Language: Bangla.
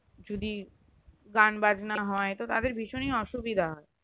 যদি গান বাজনা হয় তো তাদের ভীষণই অসুবিধা